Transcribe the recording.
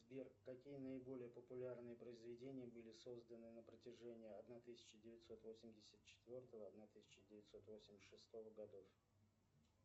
сбер какие наиболее популярные произведения были созданы на протяжении одна тысяча девятьсот восемьдесят четвертого одна тысяча девятьсот восемьдесят шестого годов